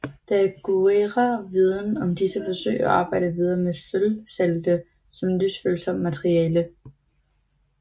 Daguerre viden om disse forsøg og arbejdede videre med sølvsalte som lysfølsomt materiale